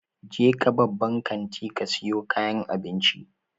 Jeka babban kantin ka siyo kayan abinci.